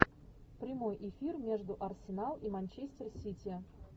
прямой эфир между арсенал и манчестер сити